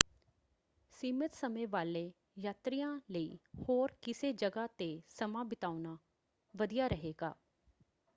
ਸੀਮਤ ਸਮੇਂ ਵਾਲੇ ਯਾਤਰੀਆਂ ਲਈ ਹੋਰ ਕਿਸੇੇ ਜਗ੍ਹਾ ‘ਤੇ ਸਮਾਂ ਬਿਤਾਉਣਾ ਵਧੀਆ ਰਹੇਗਾ।